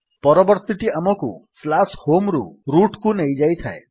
ପରବର୍ତ୍ତୀ ଟି ଆମକୁ home ରୁ rootକୁ ନେଇଯାଏ